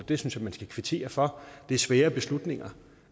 det synes jeg man skal kvittere for det er svære beslutninger